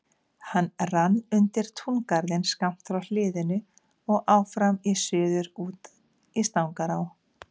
Hann rann undir túngarðinn skammt frá hliðinu og áfram í suður út í Stangará.